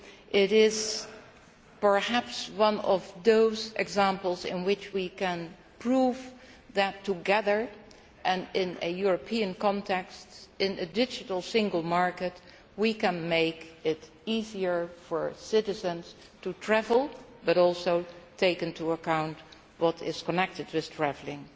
It is perhaps one of those examples in which we can prove that together, and in a European context, in a digital single market we can make it easier for citizens to travel and also take into account everything connected with travelling.